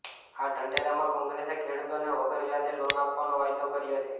આ ઢંઢેરામાં કોંગ્રેસે ખેડૂતોને વગર વ્યાજે લોન આપવાનો વાયદો કર્યો છે